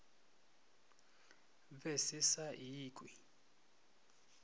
se be se sa ikwe